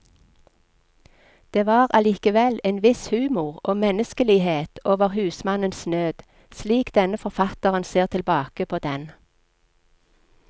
Det var allikevel en viss humor og menneskelighet over husmannens nød, slik denne forfatteren ser tilbake på den.